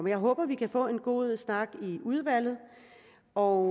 jeg håber vi kan få en god snak i udvalget og